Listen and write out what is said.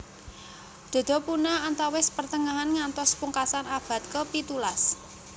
Dodo punah antawis pertengahan ngantos pungkasan abad ke pitulas